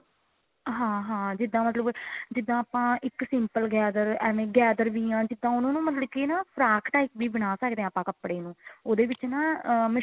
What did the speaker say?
ਹਾਂ ਹਾਂ ਜਿੱਦਾਂ ਮਤਲਬ ਜਿੱਦਾਂ ਆਪਾਂ ਇੱਕ simple gather ਐਵੇਂ gather ਵੀ ਹਾਂ ਜਿੱਦਾਂ ਮਤਲਬ ਕਿ ਉਹਨੂੰ ਨਾ ਫਰਾਕ type ਵੀ ਬਣਾ ਸਕਦੇ ਹਾਂ ਆਪਾਂ ਕਪੜੇ ਨੂੰ ਉਦੇ ਵਿੱਚ ਨਾ